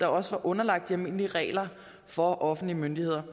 også var underlagt de almindelige regler for offentlige myndigheder